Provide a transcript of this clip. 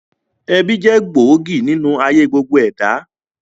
Ẹbí jẹ́ gbòógì nínú ayé gbogbo ẹ̀dá